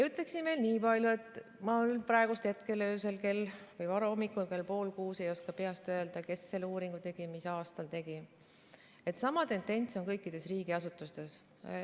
Ütlen veel nii palju – ma praegusel hetkel, varahommikul kell pool kuus ei oska peast öelda, kes ja mis aastal sellekohase uuringu tegi –, et sama tendents on kõikides riigiasutustes.